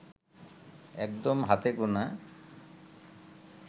একদম হাতে গোনা